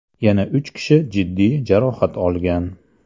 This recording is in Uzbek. Yana uch kishi jiddiy jarohat olgan.